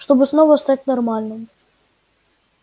чтобы снова стать нормальным